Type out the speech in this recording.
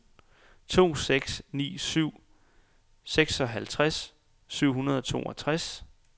to seks ni syv seksoghalvtreds syv hundrede og toogtres